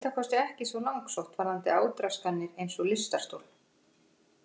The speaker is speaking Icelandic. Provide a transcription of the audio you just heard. Þetta er að minnsta kosti ekki svo langsótt varðandi átraskanir eins og lystarstol.